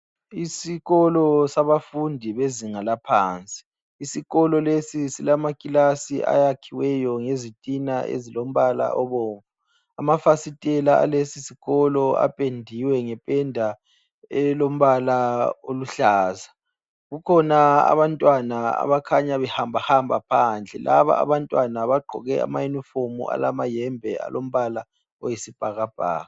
Isikolo sabafundi bezinga laphansi. Isikolo lesi silamakilasi ayakhiweyo ngezitina ezilombala obomvu. Amafasitela alesisikolo apendiwe ngependa elombala oluhlaza. Kukhona abantwana abakhanya behambahamba phandle. Laba abantwana bagqoke amayunifomu alamayembe alombala oyisibhakabhaka.